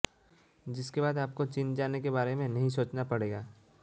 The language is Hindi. जिसके बाद आपको चीन जाने के बारे में नहीं सोचना पड़ेगा